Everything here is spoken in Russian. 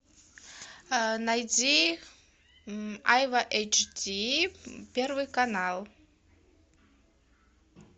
найди айва эйчди первый канал